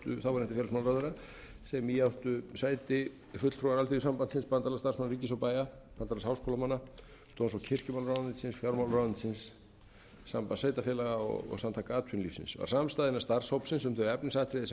þáverandi félagsmálaráðherra sem í áttu sæti fulltrúar alþýðusambandsins bandalags starfsmanna ríkis og bæja bandalags háskólamanna dóms og kirkjumálaráðuneytisins fjármálaráðuneytisins sambands sveitarfélaga og samtaka atvinnulífsins samstaða innan starfshópsins um þau efnisatriði sem